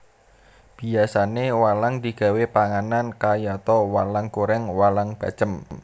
Biyasané walang digawé panganan kayata walang goreng walang bacem